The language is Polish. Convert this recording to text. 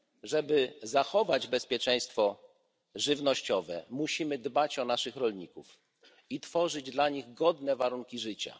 Aby zapewnić bezpieczeństwo żywnościowe, musimy dbać o naszych rolników i tworzyć dla nich godne warunki życia.